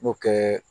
N'o tɛ